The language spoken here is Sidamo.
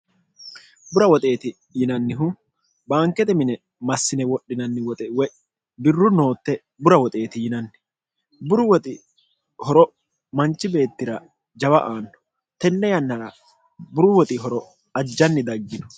bura woxeeti yinannihu baankete mine massine wodhinanni woxe woy dirru nootte bura woxeeti yinanni buru woxi horo manchi beettira jawa aanno tenne yannara buru woxi horo ajjanni daggino